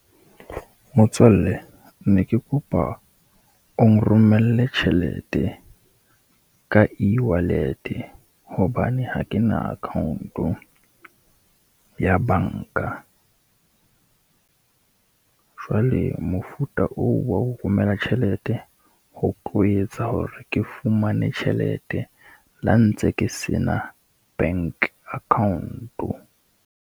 Motswalle ne ke kopa o nromelle tjhelete ka ewallet-e hobane ha ke na account-o ya banka. Jwale mofuta oo wa ho romela tjhelete ho tlo etsa hore ke fumane tjhelete le ha ntse ke se na bank account-o.